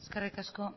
eskerrik asko